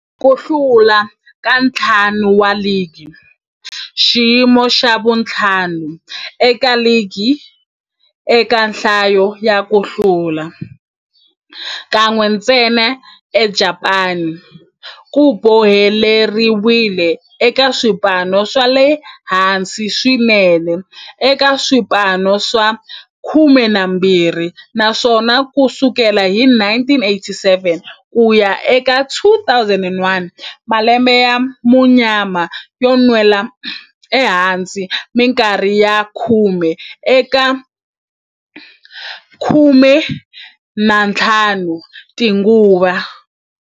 Ku hlula ka ntlhanu wa ligi, xiyimo xa vu-5 eka ligi eka nhlayo ya ku hlula, kan'we ntsena eJapani, ku boheleriwile eka swipano swa le hansi swinene eka swipano swa 12, naswona ku sukela hi 1987 ku ya eka 2001, malembe ya munyama yo nwela ehansi minkarhi ya khume eka 15 tinguva.